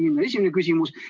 See on esimene küsimus.